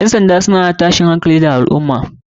Ƴan sanda suna hana afkuwar tashin hankali a lal ummah